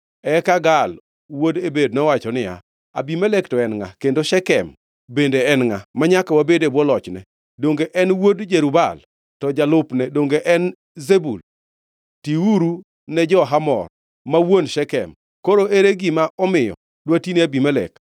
Eka Gaal wuod Ebed nowacho niya, “Abimelek to en ngʼa, kendo Shekem bende en ngʼa, manyaka wabed e bwo lochne? Donge en wuod Jerub-Baal, to jalupne donge en Zebul? Tiuru ne jo-Hamor, ma wuon Shekem! Koro ere gima omiyo dwatine Abimelek?